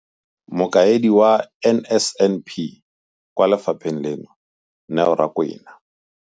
Mokaedi wa NSNP kwa lefapheng leno, Neo Rakwena.